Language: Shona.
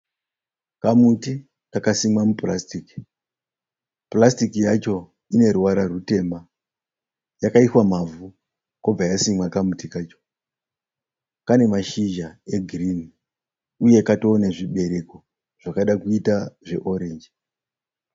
Kamuti kakasimwa mupurasitiki. Purasitiki yacho ine ruvara rutema. Yakaiswa mavhu kobva yasimwa kamuti kacho. Kane mashizha e girinhi uye katove nezvibereko zvakada kuita zve orange.